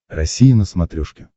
россия на смотрешке